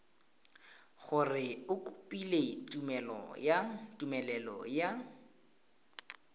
gore o kopile tumelelo ya